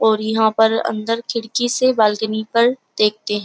और इहां पर अंदर खिड़की से बाल्कनी पर देखते है।